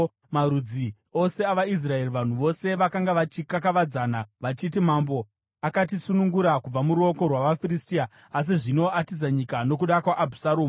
Mumarudzi ose avaIsraeri, vanhu vose vakanga vachikakavadzana vachiti, “Mambo akatisunungura kubva muruoko rwavaFiristia. Asi zvino atiza nyika nokuda kwaAbhusaromu;